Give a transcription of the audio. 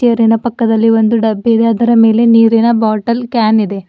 ತೇರಿನ ಪಕ್ಕದಲ್ಲಿ ಒಂದು ಡಬ್ಬಿ ಇದೆ ಅದರ ಮೇಲೆ ನೀರಿನ ಬಾಟಲ್ ಕ್ಯಾನ್ ಇದೆ.